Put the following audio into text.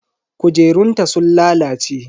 Kujerunta sun lalace.